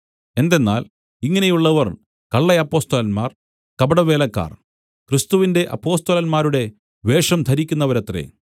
എന്തെന്നാൽ ഇങ്ങനെയുള്ളവർ കള്ളയപ്പൊസ്തലന്മാർ കപടവേലക്കാർ ക്രിസ്തുവിന്റെ അപ്പൊസ്തലന്മാരുടെ വേഷം ധരിക്കുന്നവരത്രേ